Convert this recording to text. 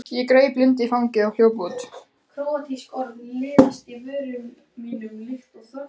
Ég greip Lindu í fangið og hljóp út.